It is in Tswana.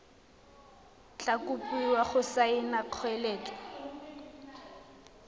tla kopiwa go saena kgoeletso